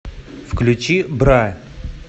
включи бра